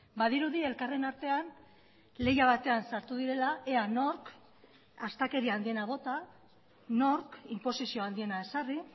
badirudi elkarren artean lehia batean sartu direla ea nork astakeria handiena bota nork inposizioa handiena ezarri